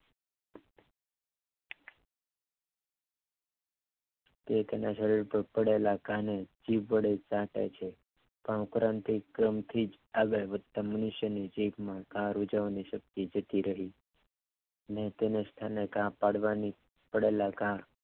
એ કદાચ હવે તો પડેલા કાને જીભ વડે ચાટે છે આ ઉપરાંત થી જ મનુષ્ય આગળ વધતા મનુષ્યની જીભ કાર ઉજવવાની શક્તિ જતી રહી છ અને તેને શક્તિ તેને બદલે ઘા પાડવાની પડેલા ઘા